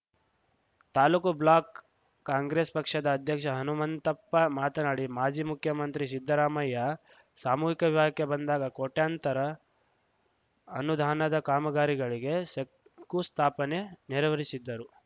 taluk block Congress ಪಕ್ಷದ ಅಧ್ಯಕ್ಷ ಹನುಮಂತಪ್ಪ ಮಾತನಾಡಿ ಮಾಜಿ ಮುಖ್ಯಮಂತ್ರಿ ಸಿದ್ದರಾಮಯ್ಯ ಸಾಮೂಹಿಕ ವಿವಾಹಕ್ಕೆ ಬಂದಾಗ ಕೋಟ್ಯಾಂತರ ಅನುದಾನದ ಕಾಮಗಾರಿಗಳಿಗೆ ಶಂಕುಸ್ಥಾಪನೆ ನೆರವೇರಿಸಿದ್ದರು